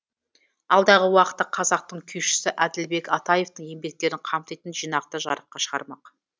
алдағы уақытта қазақтың күйшісі әділбек атаевтың еңбектерін қамтитын жинақты жарыққа шығармақ